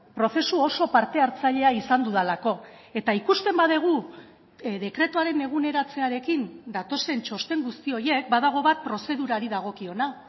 prozesu oso parte hartzailea izan dudalako eta ikusten badugu dekretuaren eguneratzearekin datozen txosten guzti horiek badago bat prozedurari dagokiona